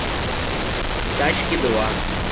тачки два